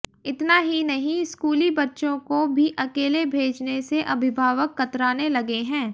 इतना ही नहीं स्कूली बच्चों को भी अकेले भेजने से अभिभावक कतराने लगे हैं